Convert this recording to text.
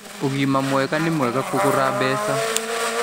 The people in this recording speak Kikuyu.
Ũgima mwega nĩmwega kũrũga mbeca